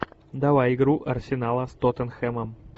давай игру арсенала с тоттенхэмом